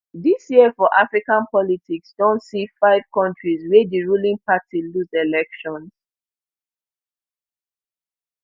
dis year for african politics don see five kontris wia di ruling party lose elections